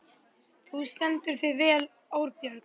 Þú stendur þig vel, Árbjörg!